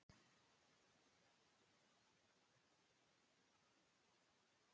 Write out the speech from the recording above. Það voru bakháir sófar meðfram veggjunum.